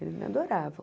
Eles me adoravam.